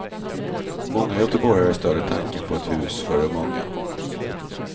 Många göteborgare stöder tanken på ett hus för de unga.